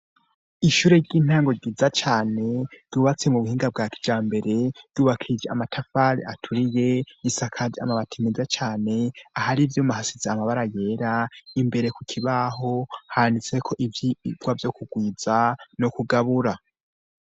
Ishure ry'intango ryiza cane yubatse mu buhinga bwa kya mbere yubakije amatafari aturiye isakazi amabati meza cane ahari vyumu ahasize amabara yera imbere ku kibaho handitseko ivyoibwa vyo kugwiza no kugabura.